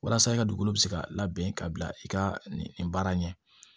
Walasa i ka dugukolo bɛ se ka labɛn ka bila i ka nin baara ɲɛ